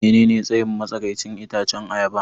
Menene tsayin matsakaicin itacen ayaba?